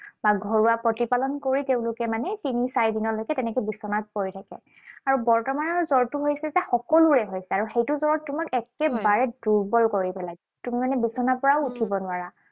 বা ঘৰুৱা প্ৰতিপালন কৰি তেওঁলোকে মানে তিনি চাৰিদিনলৈকে তেনেকে বিচনাত পৰি থাকে। আৰু বৰ্তমানৰ জ্বৰটো হৈছে যে সকলোৰে হৈছে। আৰু সেইটো জ্বৰে তোমাক একেবাৰে দুৰ্বল কৰি পেলায়। তুমি মানে বিচনাৰ পৰাও উঠিব নোৱাৰা।